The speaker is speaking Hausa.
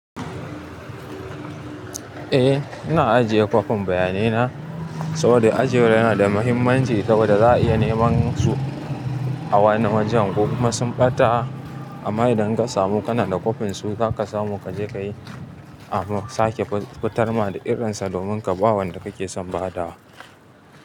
Eh, ina ajiye kwafin bayanaina saboda ajiyar yana da mahimmanci saboda za a iya neman su a wani wajen. Ko kuma sun ɓata amm idan kasa, mu kana da kwafin su zaka samu ka je ka yi, a sake fitar da irinsa domin ka ba wanda kake son ba da wa.